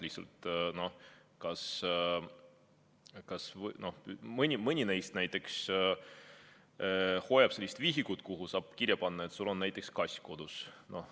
Mõni neist näiteks peab sellist vihikut, kuhu saab lasta kirja panna, et tal on näiteks kass kodus.